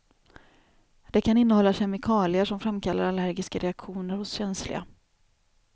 Det kan innehålla kemikalier som framkallar allergiska reaktioner hos känsliga.